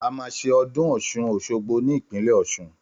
Àmà sẹ ọ̀dún ọsún ọṣọgbo ni ìpínlẹ ọsún